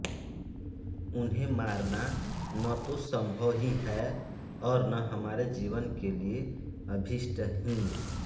उन्हें मारना न तो सम्भव ही है और न हमारे जीवन के लिए अभीष्ट ही